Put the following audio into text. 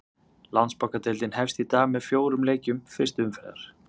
Landsbankadeildin hefst í dag með fjórum leikjum fyrstu umferðar.